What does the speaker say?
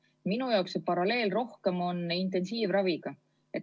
Minu jaoks on see paralleel rohkem intensiivraviga.